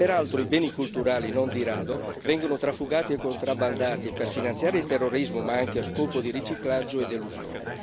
Peraltro i beni culturali, non di rado, vengono trafugati e contrabbandati per finanziare il terrorismo ma anche a scopo di riciclaggio ed elusione.